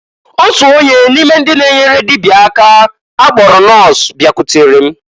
Otu onye n'ime ndị na-enyere dịbịa aka akpọrọ nọs bịakwutere m.